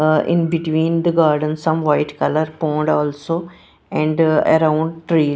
ah in between the garden some white colour pond also and around tree.